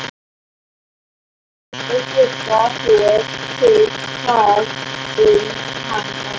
Þitt að geta þér til hvað um hann varð.